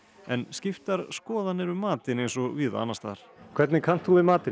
en skiptar skoðanir um matinn eins og víða annars staðar hvernig kannt þú við matinn